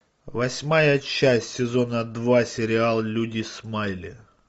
восьмая часть сезона два сериал люди смайли